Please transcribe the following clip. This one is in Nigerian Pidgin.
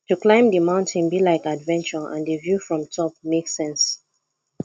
to climb di mountain be like adventure and di view from top make sense